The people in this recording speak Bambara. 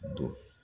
Don